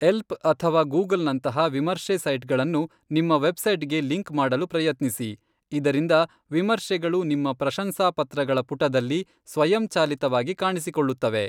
Help ಅಥವಾ ಗೂಗಲ್ನಂತಹ ವಿಮರ್ಶೆ ಸೈಟ್ಗಳನ್ನು ನಿಮ್ಮ ವೆಬ್ಸೈಟ್ಗೆ ಲಿಂಕ್ ಮಾಡಲು ಪ್ರಯತ್ನಿಸಿ ಇದರಿಂದ ವಿಮರ್ಶೆಗಳು ನಿಮ್ಮ ಪ್ರಶಂಸಾಪತ್ರಗಳ ಪುಟದಲ್ಲಿ ಸ್ವಯಂಚಾಲಿತವಾಗಿ ಕಾಣಿಸಿಕೊಳ್ಳುತ್ತವೆ.